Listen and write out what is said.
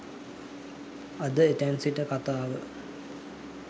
අද එතැන් සිට කතාව